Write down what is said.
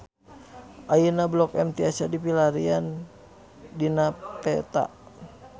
Ayeuna Blok M tiasa dipilarian dina peta